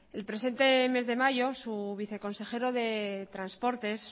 el presente mes de mayo su viceconsejero de transportes